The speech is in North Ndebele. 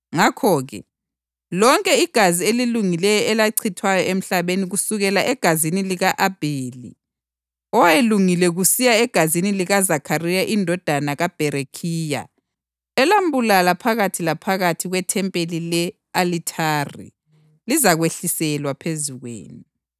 Ngakho-ke, lonke igazi elilungileyo elachithwayo emhlabeni kusukela egazini lika-Abheli owayelungile kusiya egazini likaZakhariya indodana kaBherekhiya elambulala phakathi laphakathi kwethempeli le-alithari lizakwehliselwa phezu kwenu.